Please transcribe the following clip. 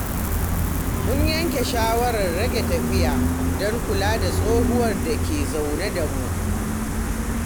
Mun yanke shawarar rage tafiya don kula da tsohuwar da ke zaune da mu.